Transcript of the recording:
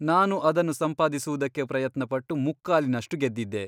ನಾನು ಅದನ್ನು ಸಂಪಾದಿಸುವುದಕ್ಕೆ ಪ್ರಯತ್ನಪಟ್ಟು ಮುಕ್ಕಾಲಿನಷ್ಟು ಗೆದ್ದಿದ್ದೆ.